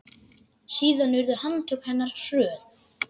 Síðan urðu handtök hennar hröð.